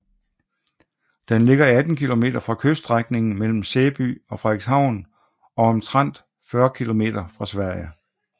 Den ligger 18 km fra kyststrækningen mellem Sæby og Frederikshavn og omtrent 40 km fra Sverige